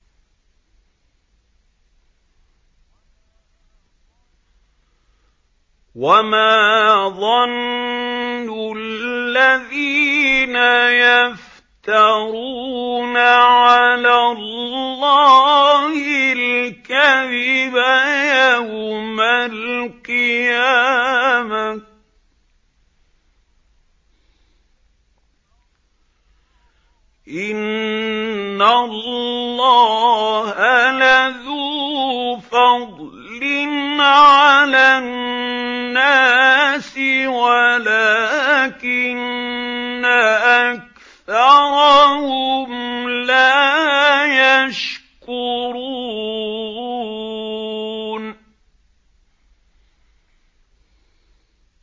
وَمَا ظَنُّ الَّذِينَ يَفْتَرُونَ عَلَى اللَّهِ الْكَذِبَ يَوْمَ الْقِيَامَةِ ۗ إِنَّ اللَّهَ لَذُو فَضْلٍ عَلَى النَّاسِ وَلَٰكِنَّ أَكْثَرَهُمْ لَا يَشْكُرُونَ